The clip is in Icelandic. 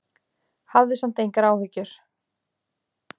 Hafðu samt engar áhyggjur.